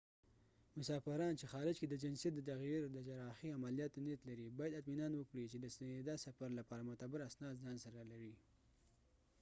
مسافران چې خارج کې د جنسیت د تغییر د جراحي عملیاتو نیت لري باید اطمینان وکړي چې د ستنېدا سفر لپاره معتبر اسناد ځان سره لري